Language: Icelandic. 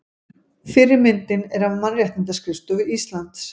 Fyrri myndin er af Mannréttindaskrifstofu Íslands.